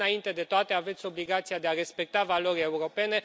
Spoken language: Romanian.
Dar, înainte de toate, aveți obligația de a respecta valorile europene.